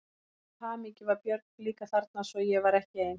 Til allrar hamingju var Björg líka þarna svo ég var ekki ein.